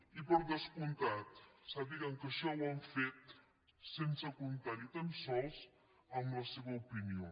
i per descomptat sàpiguen que això ho han fet sense comptar ni tan sols amb la seva opinió